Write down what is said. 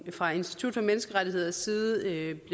fra institut for menneskerettigheders side